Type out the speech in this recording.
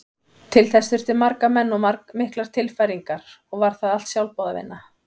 Til þess þurfti marga menn og miklar tilfæringar og var það allt sjálfboðavinna.